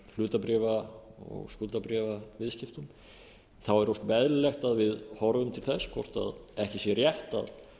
hlutabréfa og skuldabréfaviðskiptum þá er ósköp eðlilegt að við horfum til þess hvort ekki sé rétt að